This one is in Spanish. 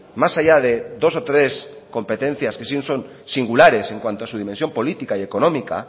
más allá de dos o tres competencias que sí son singulares en cuanto a su dimensión política y económica